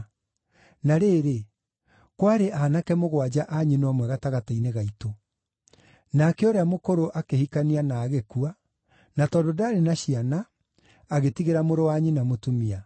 Na rĩrĩ, kwarĩ aanake mũgwanja a nyina ũmwe gatagatĩ-inĩ gaitũ. Nake ũrĩa mũkũrũ akĩhikania na agĩkua, na tondũ ndaarĩ na ciana, agĩtigĩra mũrũ wa nyina mũtumia.